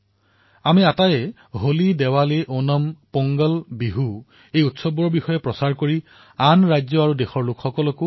আমাৰ প্ৰয়াস এয়াই হোৱাই উচিত যে ফাকুৱাই হওক ওনমেই হওক পোংগলেই হওক অথবা বিহুৱেই হওক এনে ধৰণৰ পৰ্বসমূহ প্ৰসাৰ কৰিব লাগে আৰু উৎসৱৰ আনন্দত অন্য ৰাজ্য দেশৰ জনসাধাৰণকো চামিল কৰিব লাগে